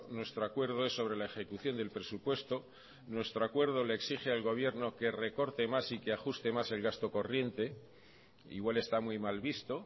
nuestro acuerdo es sobre la ejecución del presupuesto nuestro acuerdo le exige al gobierno que recorte más y que ajuste más el gasto corriente igual está muy mal visto